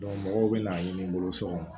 mɔgɔw bɛna ɲini n bolo so kɔnɔ